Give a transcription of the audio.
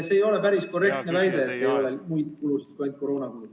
Aga ei ole päris korrektne väita, et lisaeelarves ei ole muid kulusid kui ainult koroonakulud.